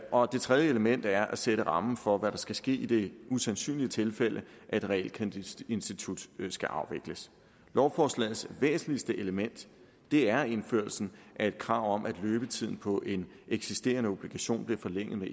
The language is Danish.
år det tredje element er at sætte rammen for hvad der skal ske i det usandsynlige tilfælde at et realkreditinstitut skal afvikles lovforslagets væsentligste element er indførelsen af et krav om at løbetiden på en eksisterende obligation bliver forlænget med